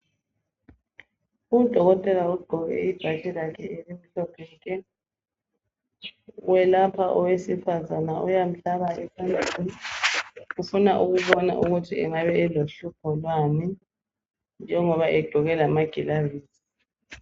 Udokotela ogqoke ibhatshi lakhe elimhlophe nke welapha owesifazana uyamhlaba ufuna ukubona ukuthi angaba elohlupho lwani njengoba egqoke lamagilavisi.